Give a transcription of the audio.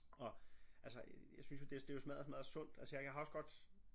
Og altså jeg synes jo det jo smadder smadder sundt altså jeg har også godt